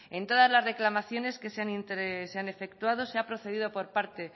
en todas las reclamaciones que se han efectuado se ha procedido por parte